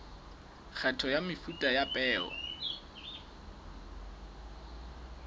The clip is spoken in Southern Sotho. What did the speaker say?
kgetho ya mefuta ya peo